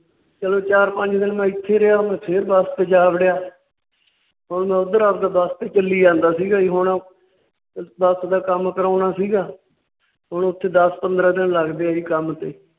ਚੱਲ ਚਾਰ ਪੰਜ ਦਿਨ ਮੈ ਇੱਥੇ ਰਿਹਾ। ਫੇਰ ਬੱਸ ਤੇ ਜਾ ਵੜਿਆ। ਹੁਣ ਮੈਂ ਉੱਧਰ ਆਪਦਾ ਬੱਸ ਤੇ ਚੱਲੀ ਜਾਂਦਾ ਸੀ ਗਾ ਜੀ ਹੁਣ ਬੱਸ ਦਾ ਕੰਮ ਕਰਾਉਣਾ ਸੀ ਗਾ ਹੁਣ ਓਥੇ ਦੱਸ ਪੰਦਰਾਂ ਦਿਨ ਲੱਗਦੇ ਆ ਜੀ ਕੰਮ ਤੇ।